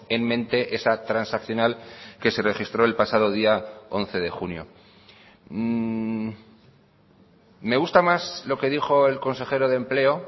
en mente esa transaccional que se registró el pasado día once de junio me gusta más lo que dijo el consejero de empleo